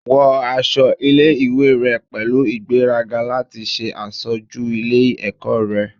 Wọ aṣọ ile-iwe rẹ pẹlu igberaga lati ṣe aṣoju ile-ẹkọ rẹ